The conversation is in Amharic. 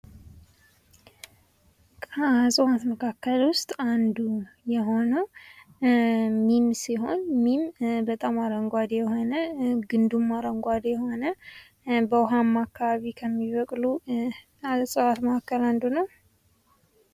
ከእፅዋት መካከል ዉስጥ አንዱ የሆነዉ ሚም ሲሆን ሚም በጣም አረንጓዴ ግንዱም አረንጓዴ የሆነ በዉኃማ አካባቢዎች ላይ ከሚበቅሉ እፅዋት መካከል አንዱ ነዉ።